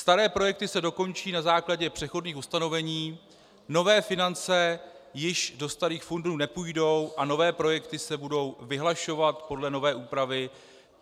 Staré projekty se dokončí na základě přechodných ustanovení, nové finance již do starých fondů nepůjdou a nové projekty se budou vyhlašovat podle nové úpravy,